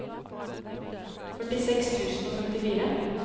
førtiseks tusen og femtifire